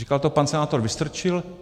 Říkal to pan senátor Vystrčil.